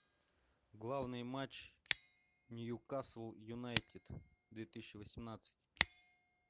главный матч ньюкасл юнайтед две тысячи восемнадцать